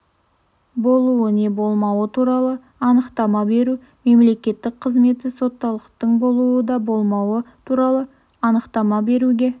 болуы не болмауы туралы анықтама беру мемлекеттік қызметі соттылықтың болуы не болмауы туралы анықтама беруге